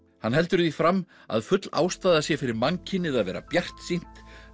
hann heldur því fram að full ástæða sé fyrir mannkynið að vera bjartsýnt